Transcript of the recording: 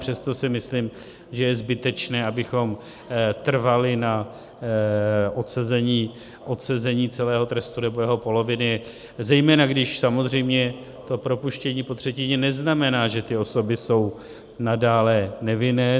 Přesto si myslím, že je zbytečné, abychom trvali na odsezení celého trestu nebo jeho poloviny, zejména když samozřejmě to propuštění po třetině neznamená, že ty osoby jsou nadále nevinné.